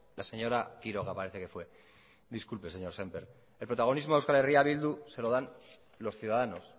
la señora quiroga parece que fue disculpe señor sémper el protagonismo a euskal herria bildu se lo dan los ciudadanos